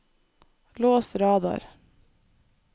lås radar